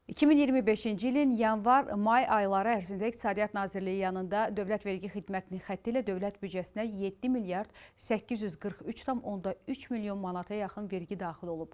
2025-ci ilin yanvar-may ayları ərzində İqtisadiyyat Nazirliyi yanında Dövlət Vergi Xidmətinin xətti ilə dövlət büdcəsinə 7 milyard 843,3 milyon manata yaxın vergi daxil olub.